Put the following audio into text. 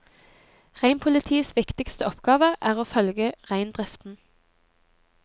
Reinpolitiets viktigste oppgave er å følge reindriften.